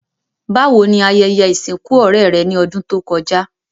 Bàwoni ayẹyẹ ìsìnkù ọ̀rẹ́ rẹ́ ni odùn to kojá?